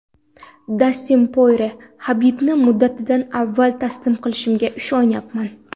Dastin Porye: Habibni muddatidan avval taslim qilishimga ishonyapman.